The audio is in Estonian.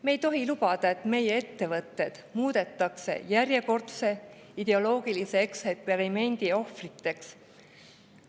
Me ei tohi lubada, et meie ettevõtted muudetakse järjekordse ideoloogilise eksperimendi ohvriteks.